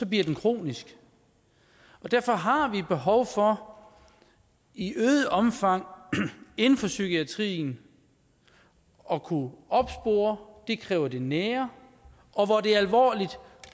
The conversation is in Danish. bliver det kronisk derfor har vi behov for i øget omfang inden for psykiatrien at kunne opspore det kræver det nære og hvor det er alvorligt at